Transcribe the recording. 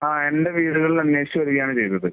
ആഹ്. എന്റെ വീടുകളിൽ അന്വേഷിച്ച് വരുകയാണ് ചെയ്തത്.